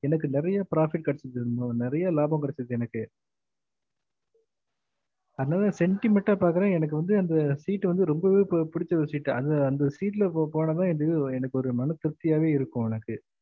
எனக்கு நெறைய profit கெடச்சது அது மூலம் நெறையா லாபம் கெடச்சு எனக்கு அதுனால செண்டிமென்ட்டா பாக்குறேன் எனக்கு வந்து அந்த seat வந்து ரொம்பவே பிடுச்ச ஒரு. seat அந்த seat ல போனம்ன்னா எனக்கு ஒரு மன திருப்த்தியவே இருக்கும்ல